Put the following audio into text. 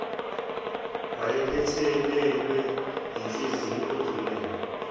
wayephelelwe yinhliziyo edumele